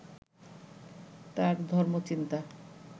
তাঁর ধর্মচিন্তা